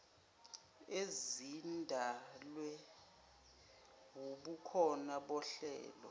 ezidalwe wubukhona bohlelo